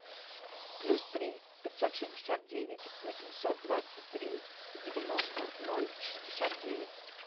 плюс три пятьсот шестьдесят девять восемьсот двадцать три девяносто ноль шестьдесят девять